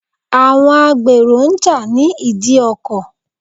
Àwọn gbèrò ń jà ní ìdí ọkọ̀.